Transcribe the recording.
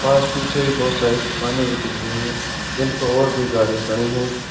बस पीछे ही बहुत सारी दुकान भी दिख रही है जिनपे और भी गाड़ी खड़ी है।